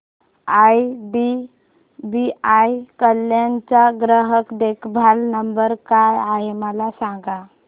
IDBI Kalyan चा ग्राहक देखभाल नंबर काय आहे मला सांगा